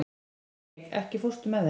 Dominik, ekki fórstu með þeim?